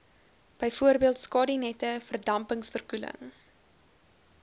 bv skadunette verdampingsverkoeling